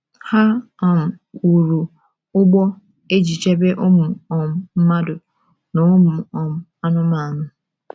Ha um wuru ụgbọ e ji chebe ụmụ um mmadụ na ụmụ um anụmanụ.